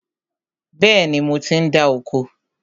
Bẹ́ẹ̀ni, mo ti ń dá oko